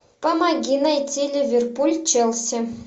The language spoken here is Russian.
помоги найти ливерпуль челси